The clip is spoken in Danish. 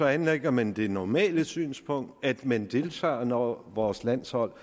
anlægger man det normale synspunkt at man deltager når vores landshold